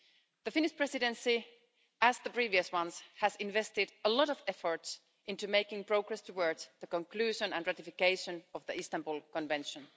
The Finnish Presidency, like the previous ones, has invested a lot of effort into making progress towards the conclusion and ratification of the Istanbul Convention.